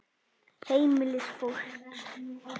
Heimili fólks.